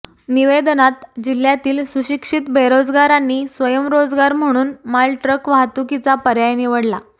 निवेदनात जिल्हय़ातील सुशिक्षित बेरोजगारांनी स्वयंरोजगार म्हणून मालट्रक वाहतुकीचा पर्याय निवडला